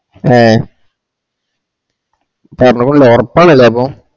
ഹേ പറഞ്ഞ full ഒറപ്പാണല്ലേ അപ്പൊ